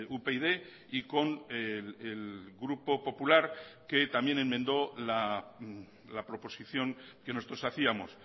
upyd y con el grupo popular que también enmendó la proposición que nosotros hacíamos